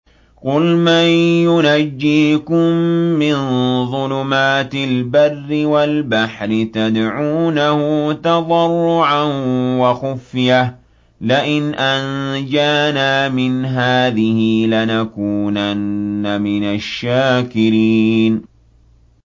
قُلْ مَن يُنَجِّيكُم مِّن ظُلُمَاتِ الْبَرِّ وَالْبَحْرِ تَدْعُونَهُ تَضَرُّعًا وَخُفْيَةً لَّئِنْ أَنجَانَا مِنْ هَٰذِهِ لَنَكُونَنَّ مِنَ الشَّاكِرِينَ